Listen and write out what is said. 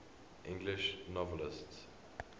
english novelists